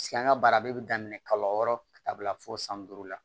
Sigi an ka baara bɛɛ bɛ daminɛ kalo wɔɔrɔ ka taa bila fo san duuru la